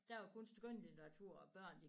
Der var kun skønlitteratur og børn